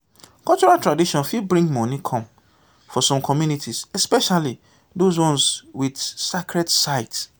cultural tradition fit bring money come for some communities especially those ones with sacred sites